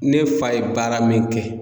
Ne fa ye baara min kɛ